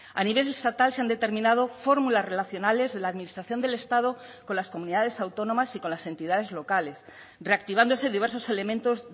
a nivel estatal se han determinado fórmulas relacionales de la administración del estado con las comunidades autónomas y con las entidades locales reactivándose diversos elementos